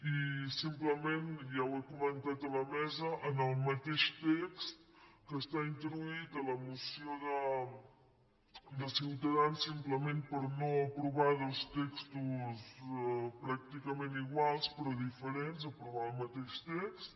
i simplement ja ho he comentat a la mesa en el mateix text que està introduït a la moció de ciutadans simplement per no aprovar dos textos pràcticament iguals però diferents aprovar el mateix text